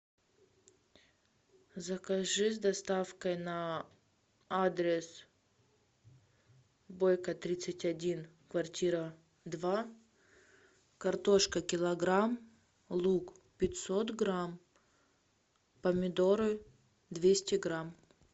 закажи с доставкой на адрес бойко тридцать один квартира два картошка килограмм лук пятьсот грамм помидоры двести грамм